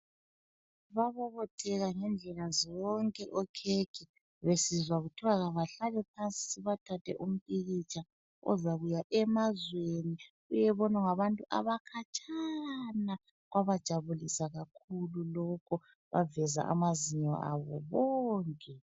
Babobotheka ngendlela zonke okhekhe besizwa kuthiwa kabahlale phansi sibathathe umpikitsha ozakuya emazweni uyebonwa ngabantu abakhatshana! Kwabajabulisa kakhulu lokhu baveza amazinyo abo bonke.